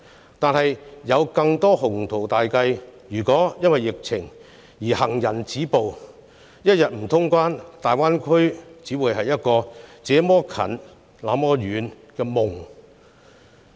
可是，即使有再多的鴻圖大計，如因疫情而行人止步——一天不通關，大灣區也只會是一個"這麼近，那麼遠"的夢。